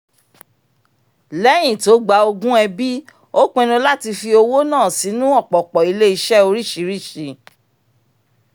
lẹ́yìn tó gba ogún ẹbí ó pinnu láti fi owó náà sínú ọ̀pọ̀pọ̀ ilé-iṣẹ́ oríṣìíríṣìí